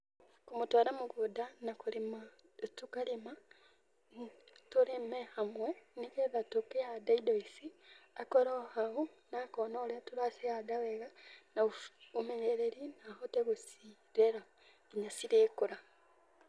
Kũmũtwara mũgũnda na kũrĩma, tũkarĩma, tũrĩme hamwe nĩ getha tũkĩhanda indo ici, akorwo hau na akona ũrĩa tũracihanda wega na ũmenyereri na ahote gũcirera nginya cirĩkũra.